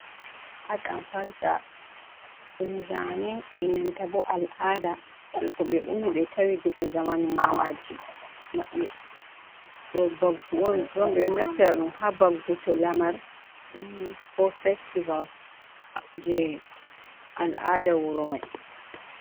Hadankalta dumzane enanta bo al'ada jeko be ummi be tawi daga zamanu mamaji mabbe, do baggu on drom bedo naftira dum ha bagguto lamar ummi ko festivals je al'ada wuro mai.